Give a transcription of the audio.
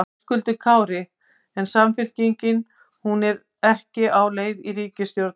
Höskuldur Kári: En Samfylkingin, hún er ekki á leið í ríkisstjórn?